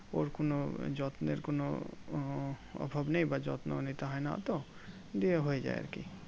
ওর কোনো যত্নের কোনো উহ অভাব নেই বা যত্ন নিতে হয়না অতো দিয়ে হয়ে যাই আরকি